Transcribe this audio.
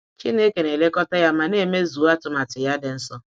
Chineke na elekọta ya ma n'emezuo atụmanya ya dị nsọ.